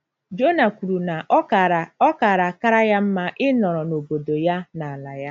Jona kwuru na ọ gaara ọ gaara akara ya mma ịnọrọ n’obodo ya, n’ala ya.